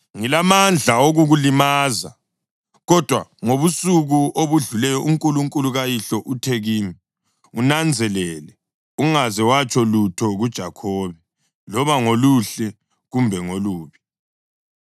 Ngilamandla okukulimaza; kodwa ngobusuku obudluleyo uNkulunkulu kayihlo uthe kimi, ‘Unanzelele ungaze watsho lutho kuJakhobe, loba ngoluhle kumbe ngolubi.’